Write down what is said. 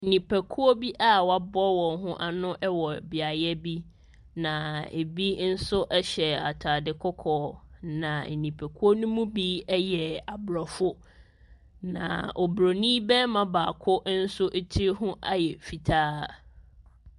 Nnipakuo bi a wɔaboa wɔn ho ano wɔ beaeɛ bi, na ɛbi nso hyɛ atadeɛ kɔkɔɔ, na nnipakuo no mu bi yɛ aborɔfo, na oburoni barima baako nso tiri ho ayɛ fitaa.